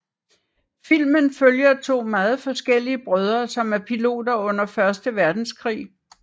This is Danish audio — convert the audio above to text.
Filmen følger to meget forskellige brødre som er piloter under første verdenskrig